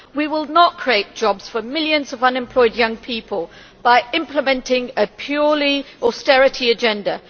We will not create jobs for millions of unemployed young people by implementing a purely austerity agenda.